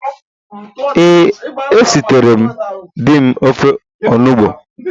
Ee, esiteree m di m ofe onugbu